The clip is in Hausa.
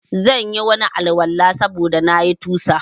Zanyi Wani Al- walan sabuda na yi tusa